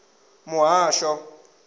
muhasho